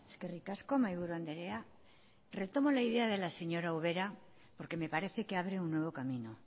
eskerrik asko mahaiburu andrea retomo la idea de la señora ubera porque me parece que abre un nuevo camino